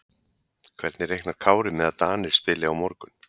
Hvernig reiknar Kári með að Danir spili á morgun?